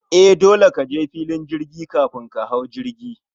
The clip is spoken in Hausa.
E, dole kaje filin jirgi kafin ka hau jirgi